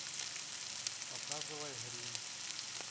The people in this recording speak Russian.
показывай гримм